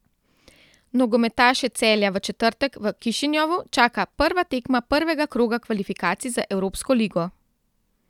Nogometaše Celja v četrtek v Kišinjovu čaka prva tekma prvega kroga kvalifikacij za Evropsko ligo.